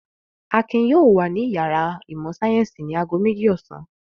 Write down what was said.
Akin yóò wà ní ìyàrá ìmọ̀-sáyẹ́ńsì ní ago méjì ọ̀sán!